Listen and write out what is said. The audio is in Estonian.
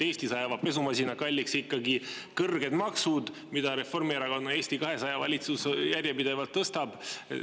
Eestis ajavad pesumasina kalliks ikkagi kõrged maksud, mida Reformierakonna, Eesti 200 valitsus järjepidevalt tõstab.